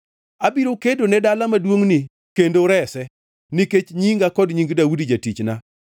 “Abiro kedone dala maduongʼni kendo rese, nikech nyinga kod nying Daudi jatichna!”